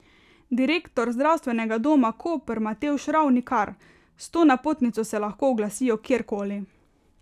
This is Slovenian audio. Direktor Zdravstvenega doma Koper Matevž Ravnikar: 'S to napotnico se lahko oglasijo kjerkoli.